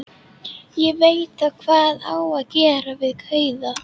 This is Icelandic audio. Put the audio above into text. Ég veit þá hvað á að gera við kauða.